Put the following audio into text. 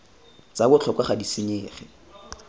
tsa botlhokwa ga di senyege